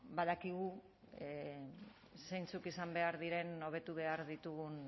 badakigu zeintzuk izan behar diren hobetu behar ditugun